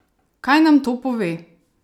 Kaj nam to pove?